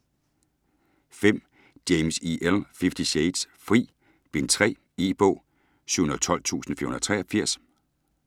James, E. L.: Fifty shades: Fri: Bind 3 E-bog 712483